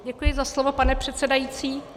Děkuji za slovo, pane předsedající.